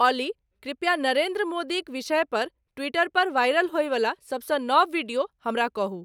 ऑली कृप्या नरेंद्र मोदीक विषय पर ट्वीटर पर वाइरल होयवला सभसँ नव विडियो हमरा कहू